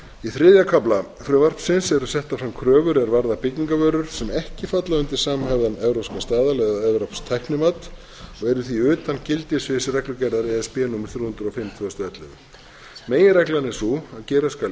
í þriðja kafla frumvarpsins eru settar fram kröfur er varða byggingarvörur sem ekki falla undir samhæfðan evrópskan staðal eða evrópskt tæknimati og eru því utan gildissviðs reglugerðar e s b númer þrjú hundruð og fimm tvö þúsund og ellefu meginreglan er sú að gera skal